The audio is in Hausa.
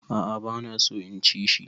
A'a bana so in ci shi.